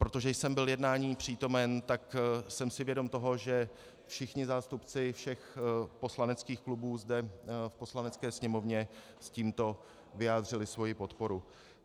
Protože jsem byl jednání přítomen, tak jsem si vědom toho, že všichni zástupci všech poslaneckých klubů zde v Poslanecké sněmovně s tímto vyjádřili svoji podporu.